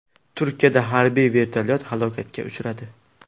Turkiyada harbiy vertolyot halokatga uchradi.